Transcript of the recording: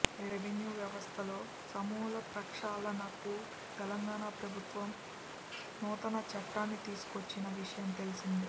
revenue వ్యవస్థలో సమూల ప్రక్షాళనకు తెలంగాణ ప్రభుత్వం నూతన చట్టాన్ని తీసుకొచ్చిన విషయం తెలిసిందే